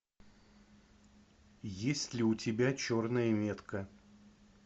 есть ли у тебя черная метка